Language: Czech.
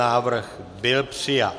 Návrh byl přijat.